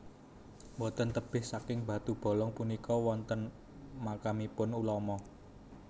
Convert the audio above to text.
Boten tebih saking batu Bolong punika wonten makamipun ulama